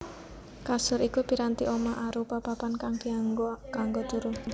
Kasur iku piranti omah arupa papan kang dianggo kanggo turu